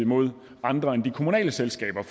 mod andre end de kommunale selskaber